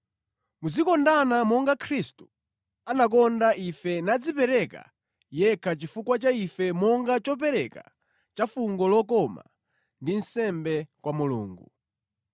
Muzikondana monga Khristu anakonda ife nadzipereka yekha chifukwa cha ife monga chopereka cha fungo lokoma ndi nsembe kwa Mulungu.